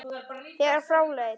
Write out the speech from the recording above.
þegar frá leið.